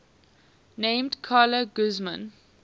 named carla guzman